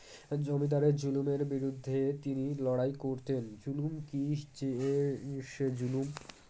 জমিদারের জুলুমের বিরুদ্ধে তিনি লড়াই করতেন জুলুম কি যে সে জুলুম